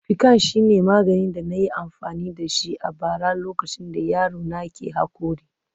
Piccan shine maganin da na yi amfani da shi a bara lokacin da yaro na ke haƙori